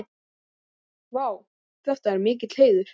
Vá, þetta er mikill heiður.